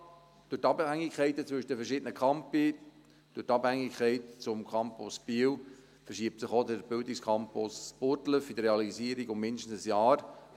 Man hatte gesagt, durch die Abhängigkeiten zwischen den verschiedenen Campusse, durch die Abhängigkeit gegenüber dem Campus Biel verschiebe sich auch der Bildungscampus Burgdorf in der Realisierung um mindestens ein Jahr.